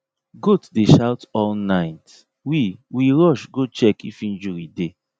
goat dey shout all night we we rush go check if injury dey